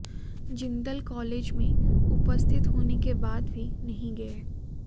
Jindal college मेें उपस्थित होने के बाद भी नहीं गये